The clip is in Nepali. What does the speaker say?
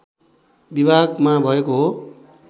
विभागमा भएको हो